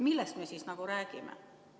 Millest me siis räägime?